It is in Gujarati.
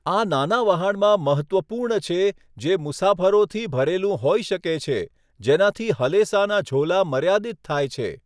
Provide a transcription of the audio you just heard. આ નાના વહાણમાં મહત્ત્વપૂર્ણ છે જે મુસાફરોથી ભરેલું હોઈ શકે છે, જેનાથી હલેસાના ઝોલા મર્યાદિત થાય છે.